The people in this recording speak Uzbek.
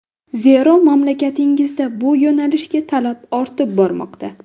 Zero, mamlakatingizda bu yo‘nalishga talab ortib bormoqda.